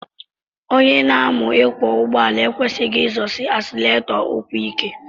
Onye na-amu ịkwọ ụgbọala ekwesighi izọsi asileretọ ụkwụ ike.